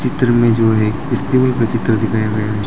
चित्र मे जो एक का चित्र दिखाया गया है।